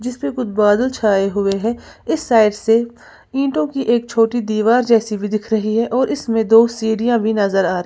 इसमें कुछ बादल छाए हुए हैं इस साइड से ईंटों की एक छोटी दीवार जैसी भी दिख रही है और इसमें दो सीरिया भी नजर आ--